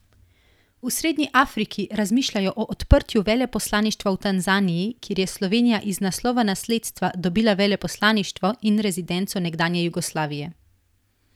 V srednji Afriki razmišljajo o odprtju veleposlaništva v Tanzaniji, kjer je Slovenija iz naslova nasledstva dobila veleposlaništvo in rezidenco nekdanje Jugoslavije.